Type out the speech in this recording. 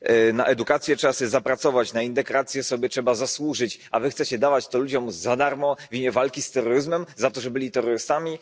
Na edukację trzeba sobie zapracować, na integrację sobie trzeba zasłużyć, a wy chcecie dawać to ludziom za darmo w imię walki z terroryzmem za to, że byli terrorystami.